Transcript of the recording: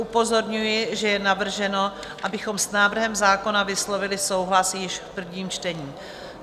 Upozorňuji, že je navrženo, abychom s návrhem zákona vyslovili souhlas již v prvním čtení.